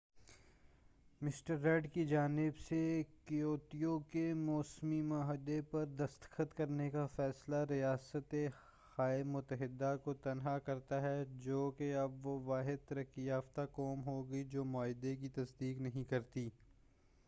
mister Rudd کی جانب سے کیوتو کے موسمی معاہدے پر دستخط کرنے کا فیصلہ ریاست ہائے متحدہ کو تنہا کرتا ہے جو کہ اب وہ واحد ترقی یافتہ قوم ہو گی جو معاہدے کی تصدیق نہیں کرتی